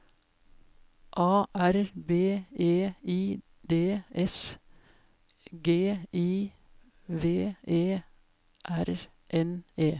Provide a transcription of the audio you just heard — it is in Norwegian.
A R B E I D S G I V E R N E